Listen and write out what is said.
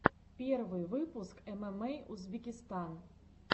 первый выпуск эмэмэй узбекистан